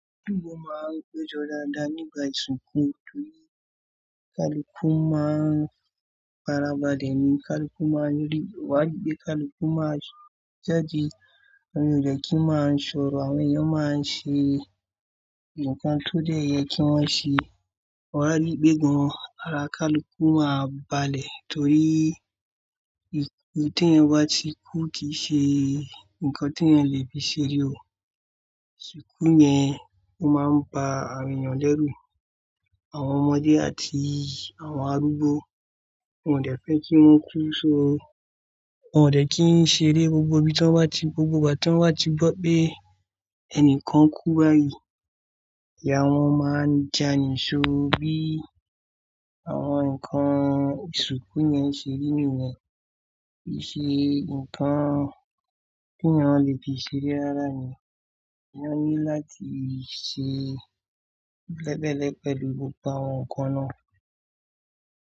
Gbogbo máa ń gbéjọ dáadáa nígbà ìsìnkú torí kaluku máa ń para balẹ̀ ni, kaluku máa ń rí wá líbí, kaluku máa ń jáde, àwọn ènìyàn kì í máa ń sọ̀rọ̀, àwọn ènìyàn máa ń ṣe ǹkan tó dẹ̀ yẹ kí wọ́n ṣe. Wari pe wọn ara kaluku máa balẹ̀ torí ìsuku tí wọ́n bá ti kú kì í ṣe ǹkan tí èèyàn lè fi ṣeré o. Ìsuku yẹn ó máa ń ba àwọn ènìyàn lẹ́rù. Àwọn ọmọdé àti àwọn arúgbó wọn ò dẹ́ fẹ́ kí wọ́n kú so, wọn ò dẹ́ kí wọ́n ṣeré gbogbo igba tí wọ́n bá ti gbọ́ pé ẹnìkan kú báyìí. Ìyá wọn máa ń jà níṣọ bí àwọn ǹkan ìsuku yẹn ṣe rí nìyẹn, kì í ṣe ǹkan tí èèyàn lè fi ṣeré rárá ni. Wọ́n ní láti ṣe bẹ́ẹ̀bẹ́ẹ̀lẹ̀ pẹ̀lú gbogbo àwọn ǹkan náà.